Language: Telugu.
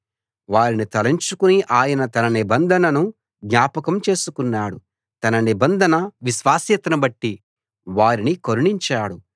వారిని తలంచుకుని ఆయన తన నిబంధనను జ్ఞాపకం చేసుకున్నాడు తన నిబంధన విశ్వాస్యతను బట్టి వారిని కరుణించాడు